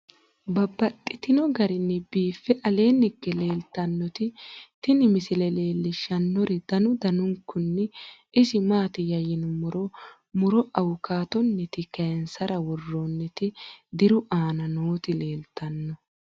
Babaxxittinno garinni biiffe aleenni hige leelittannotti tinni misile lelishshanori danu danunkunni isi maattiya yinummoro muro awukaattonitti kayiinsara woroonnitti diru aanna nootti leelittanno